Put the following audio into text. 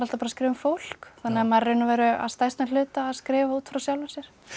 að skrifa um fólk þannig að maður raun og veru að stærstum hluta að skrifa út frá sjálfum sér